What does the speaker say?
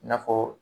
I n'a fɔ